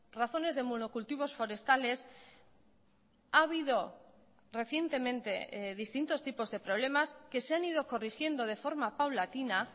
razones de monocultivos forestales ha habido recientemente distintos tipos de problemas que se han ido corrigiendo de forma paulatina